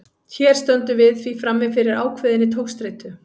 Hér stöndum við því frammi fyrir ákveðinni togstreitu.